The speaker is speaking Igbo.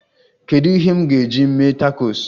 Kedu ihe m ga-eji mee takos?